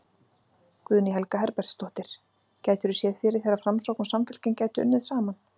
Guðný Helga Herbertsdóttir: Gætirðu séð fyrir þér að Framsókn og Samfylking gætu unnið saman?